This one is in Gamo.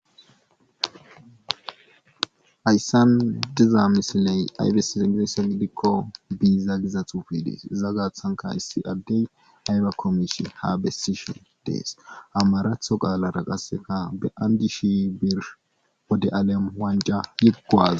Hayssan diza misiley aybesis i giese idikko biza gizatufi dees iza gaathanka issi addey aybe komishi ha bessisho dees amaratho qaalara qasseka be'andi shi bir wode alem wanja yiggoaz.